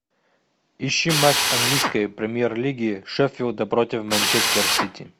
ищи матч английской премьер лиги шеффилда против манчестер сити